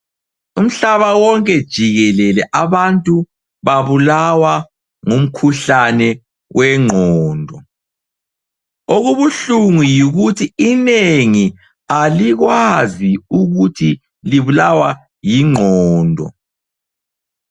Umhlaba wonke jikelele abantu babulawa ngumkhuhlane wengqondo. Okubuhlungu yikuthi inengi alikwazi ukuthi libulawa yingqondo.